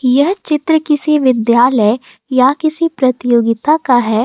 यह चित्र किसी विद्यालय या किसी प्रतियोगिता का है।